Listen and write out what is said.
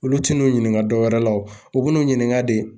Olu tin n'u ɲininka dɔw wɛrɛ la o bin'u ɲininka de